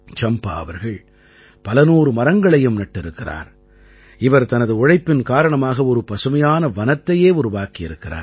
சம்பா அவர்கள் பலநூறு மரங்களையும் நட்டிருக்கிறார் இவர் தனது உழைப்பின் காரணமாக ஒரு பசுமையான வனத்தையே உருவாக்கியிருக்கிறார்